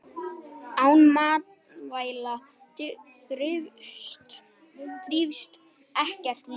Án matvæla þrífst ekkert líf.